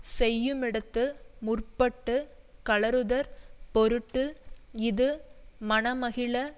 செய்யுமிடத்து முற்பட்டு கழறுதற் பொருட்டு இது மனமகிழ